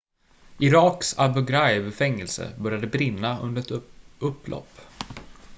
iraks abu ghraib-fängelse började brinna under ett upplopp